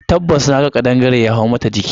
Tabbas naga kadangare ya hau mata jiki.